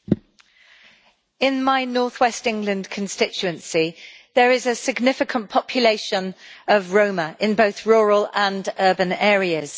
Madam President, in my north west England constituency, there is a significant population of Roma in both rural and urban areas.